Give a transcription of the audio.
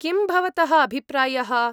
किं भवतः अभिप्रायः?